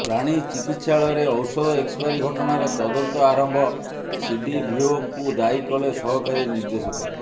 ପ୍ରାଣୀ ଚିକିତ୍ସାଳୟରେ ଔଷଧ ଏକ୍ସପାରୀ ଘଟଣାର ତଦନ୍ତ ଆରମ୍ଭ ସିଡିଭିଓଙ୍କୁ ଦାୟୀ କଲେ ସହକାରୀ ନିର୍ଦ୍ଦେଶକ